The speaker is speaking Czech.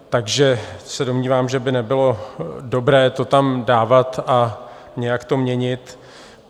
Takže se domnívám, že by nebylo dobré to tam dávat a nějak to měnit.